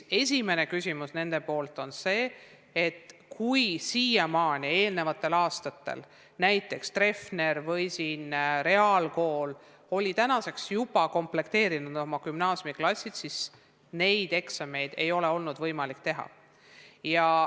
Kui eelnevatel aastatel näiteks Treffner või Tallinna Reaalkool oli tänaseks juba komplekteerinud oma gümnaasiumiklassid, siis tänavu neid eksameid või katseid ei ole olnud võimalik teha.